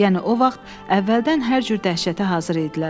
Yəni o vaxt əvvəldən hər cür dəhşətə hazır idilər.